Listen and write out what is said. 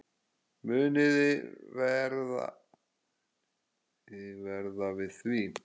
Muniði verða við því?